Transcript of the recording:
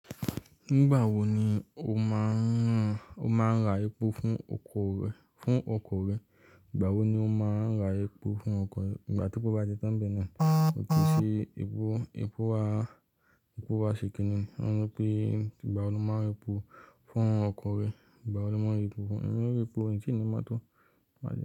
Nígbà wo ni o máa ń ra epo fún ọkọ̀ rẹ, fún epo rẹ̀. Nígbà tí mo máa ń ra epo fún ọkọ̀, igbá tepo bá ti tán ń bẹ̀ náà, ó ti tí epo, epo wá ṣe kìn-ín-ní. Wọ́n ní pé ígbàwo ni mo máa ń ra epo fún ọkọ̀ rẹ. Nígbà wo ni mo máa ń ra epo, èmi ò ní ra epo, ń ti ní mọ́tò.